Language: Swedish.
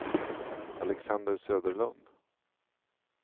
Alexander Söderlund